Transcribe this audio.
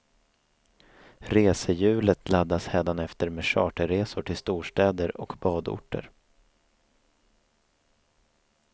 Resehjulet laddas hädanefter med charterresor till storstäder och badorter.